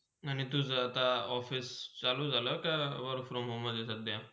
आणि तुझा आता Office चालू झाला का? के work from home मधे?